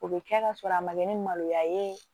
O bɛ kɛ ka sɔrɔ a ma kɛ ni maloya ye